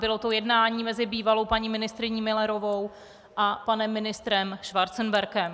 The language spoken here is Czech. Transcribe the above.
Bylo to jednání mezi bývalou paní ministryní Müllerovou a panem ministrem Schwarzenbergem.